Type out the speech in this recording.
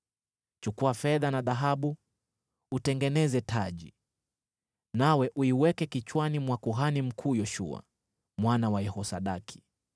Chukua fedha na dhahabu utengeneze taji, nawe uiweke kichwani mwa kuhani mkuu Yoshua, mwana wa Yehosadaki.